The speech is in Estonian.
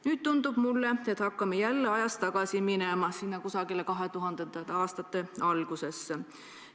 Nüüd tundub mulle, et me hakkame ajas tagasi minema kusagile 2000. aastate algusesse.